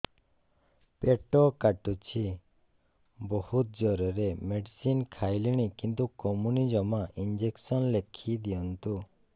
ପେଟ କାଟୁଛି ବହୁତ ଜୋରରେ ମେଡିସିନ ଖାଇଲିଣି କିନ୍ତୁ କମୁନି ଜମା ଇଂଜେକସନ ଲେଖିଦିଅନ୍ତୁ